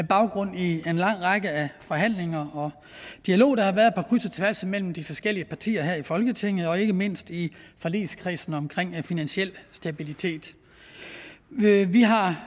baggrund i en lang række af forhandlinger og dialog der har været på kryds og tværs mellem de forskellige partier her i folketinget og ikke mindst i forligskredsen omkring finansiel stabilitet vi har